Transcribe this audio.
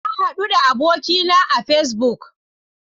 Na hadu da abokina a Facebook.